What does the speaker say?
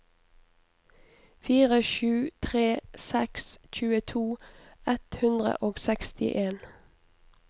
fire sju tre seks tjueto ett hundre og sekstien